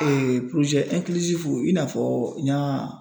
i n'a fɔ n ɲ'a